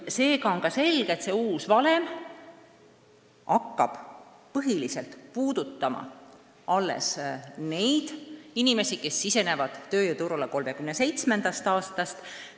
Seega on ka selge, et uus valem hakkab põhiliselt puudutama neid inimesi, kes sisenevad tööjõuturule 2037. aastast.